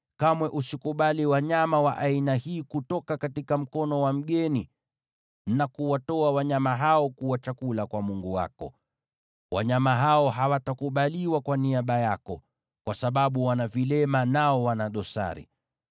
na kamwe usikubali wanyama wa aina hii kutoka mkono wa mgeni ili kuwatoa wanyama hao kuwa chakula kwa Mungu wako. Wanyama hao hawatakubaliwa kwa niaba yako, kwa sababu wana vilema, nao wana dosari.’ ”